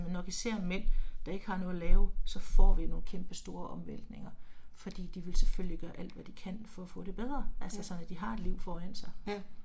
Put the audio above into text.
Men når vi ser mænd, der ikke har noget at lave, så får vi nogle kæmpe store omvæltninger, fordi de vil selvfølgelig gøre alt hvad de kan for at få det bedre, altså sådan at de har et liv foran sig